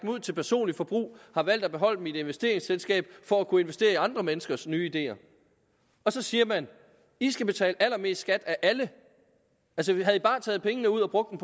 ud til personligt forbrug har valgt at beholde dem i et investeringsselskab for at kunne investere i andre menneskers nye ideer så siger man i skal betale allermest skat af alle havde i bare taget pengene ud og brugt